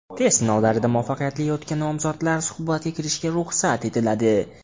Test sinovlaridan muvaffaqiyatli o‘tgan nomzodlar suhbatga kirishiga ruxsat etiladi.